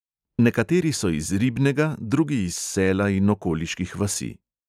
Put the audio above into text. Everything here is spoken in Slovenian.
Nekateri so iz ribnega, drugi iz sela in okoliških vasi.